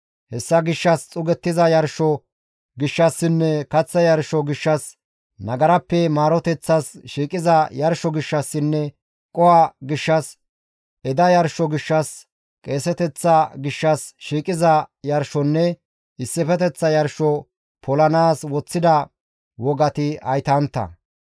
Hessa gishshas xuugettiza yarsho gishshassinne kaththa yarsho gishshas, nagarappe maaroteththas shiiqiza yarsho gishshassinne qoho gishshas, eda yarsho gishshas, qeeseteththa gishshas shiiqiza yarshonne issifeteththa yarsho polanaas woththida wogati haytantta.